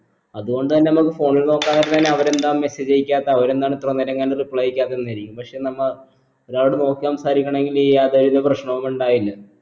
അത് കൊണ്ട് തന്നെ നമ്മക് phone ൽ നോക്കാൻ ന്നെ അവരെന്താ message അയക്കാത്തെ അവരെന്താണ് ഇത്ര നേരംകണ്ട് reply അയക്കാത്തെ എന്നിരിക്കും പക്ഷെ നമ്മ ഒരാളോട് നോക്കി സംസാരിക്കാണെങ്കിൽ ഈ യാതൊരു വിത പ്രശ്നവും ഇണ്ടായില്ല